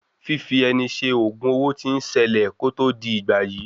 Fífi ẹni ṣe ògùn owo tí ń ṣẹlẹ̀ kó tó di ìgbàyí.